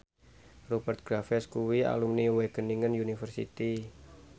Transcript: Rupert Graves kuwi alumni Wageningen University